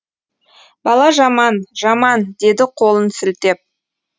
бала жаман жаман деді қолын сілтеп